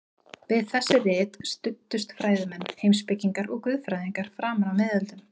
Við þessi rit studdust fræðimenn, heimspekingar og guðfræðingar framan af miðöldum.